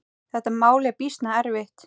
Þetta mál er býsna erfitt.